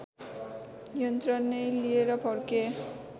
यन्त्र नै लिएर फर्के